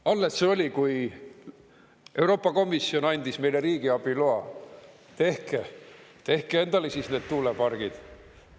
Alles see oli, kui Euroopa Komisjon andis meile riigiabi loa: tehke, tehke endale siis need tuulepargid!